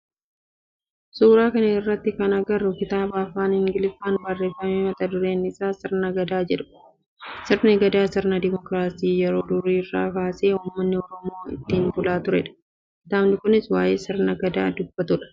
Suuraa kana irratti kan agarru kitaaba afaan ingiliffaan barreeffame mata dureen isaa sirna Gadaa jedhudha. Sirni Gadaa sirna dimookiraasii yeroo durii irraa kaasee ummanni oromoo ittiin bulaa turedha. Kitaabni kunis waayee sirna Gadaa dubbata